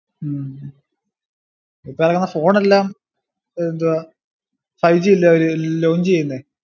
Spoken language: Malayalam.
ഉം ഇപ്പൊ ഇറങ്ങണ് phone എല്ലാം എഎന്താ ഫൈവ് ജി അല്ലയോ അവർ launch ചെയ്യുന്നേ